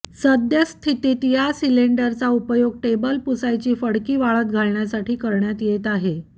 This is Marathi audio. सद्यस्थितीत या सिलिंडरचा उपयोग टेबल पुसायची फडकी वाळत घालण्यासाठी करण्यात येत आहे